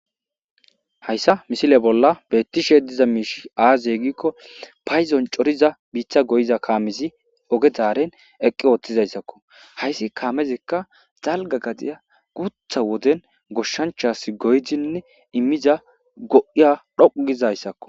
hayssa misile bolla beettishe diza miishi aazyegikko payzon coriza biitha goyiza kaamezi oge daaren eqqi oothtizayssakko hayssi kaamezekka zalga gadiya gutha woden goshshanchas goydinne immiza go7iya dhoqugizayssakko